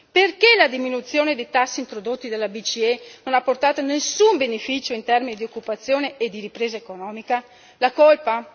Perché la diminuzione dei tassi introdotti dalla BCE non ha portato nessun beneficio in termini di occupazione e di ripresa economica? La colpa?